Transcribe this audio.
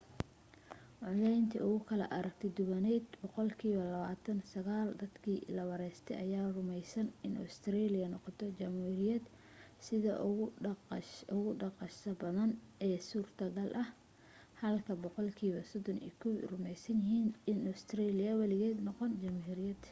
codayntii ugu kala aragti duwanayd boqolkiiba 29 dadkii la waraystay ayaa rumaysnaa in ustareeliya noqoto jamhuuriyad sida ugu dhaqsaha badan ee suurtogal ah halka boqolkiiba 31 rumaysnaayeen inaanay ustareeliya weligeed noqon jamhuuriyad